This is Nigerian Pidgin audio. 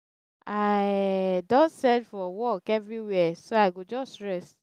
i um don search for work everywhere so i go just rest